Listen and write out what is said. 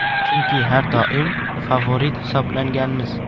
Chunki har doim favorit hisoblanganmiz.